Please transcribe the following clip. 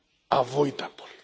avoidable.